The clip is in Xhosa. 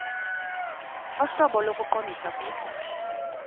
ohlobo lokuqondisa kuse